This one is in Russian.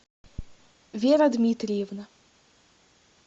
вера дмитриевна